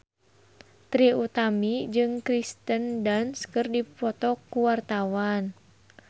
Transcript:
Trie Utami jeung Kirsten Dunst keur dipoto ku wartawan